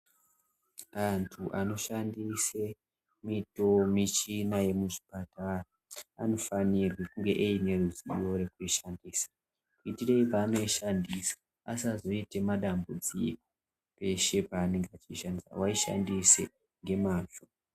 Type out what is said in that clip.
Antu anoshandise mito michina yemuzvipatara anofanirwe kunge eine ruzivo rwekuishandisa. Itirei panoishandisa asazoite madambudziko peshe pavanenge vachishandisa vaishandise ngemazvo.